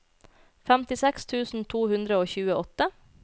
femtiseks tusen to hundre og tjueåtte